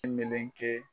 I meleke